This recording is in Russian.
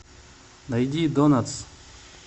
найди донатс